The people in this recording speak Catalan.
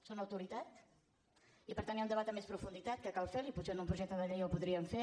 son autoritat i per tant hi ha un debat en més profunditat que cal fer lo i potser en un projecte de llei de llei el podríem fer